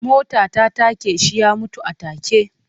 Mota ta take shi ya mutu a take.